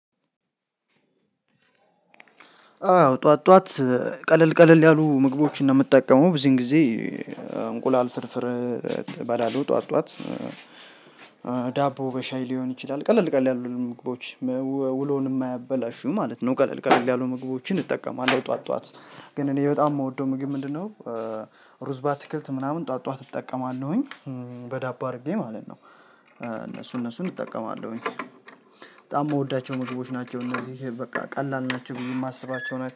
አዎ ጠዋት ጠዋት ቀለል ቀለል ያሉ ምግቦችን ነው የምትጠቀመው። በዙን ጊዜ እንቁላል ፍርፍር እበላለው ጠዋት ጠዋት ዳቦ በሻይ ሊሆን ይችላል። ቀለል ቀለል ያሉ ምግቦች ውሎንም የማያበላሹ ማለት ነው። ቀለል ቀለል ያሉ ምግቦችን እጠቀማለሁ ጠዋት ጠዋት። ግን እኔ በጣም የምወደው ምግብ ምንድነው? ሩዝ ባትክልት ምናምን ጠዋት ጠዋት እጠቀማለሁኝ። በዳባ አድርጌ ማለት ነው። እነሱ እነሱን እጠቀማለሁኝ። በጣም የምወዳቸው ምግቦች ናቸው እነዚህ በቃ ቀላል ናቸው ብዬ የማስባቸው ናቸው።